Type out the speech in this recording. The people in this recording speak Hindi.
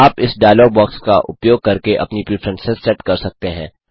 आप इस डायलॉग बॉक्स का उपयोग करके अपनी प्रिफ्रेंसेस सेट कर सकते हैं